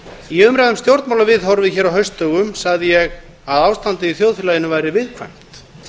í umræðu um stjórnmálaviðhorfið hér á haustdögum sagði ég að ástandið í þjóðfélaginu væri viðkvæmt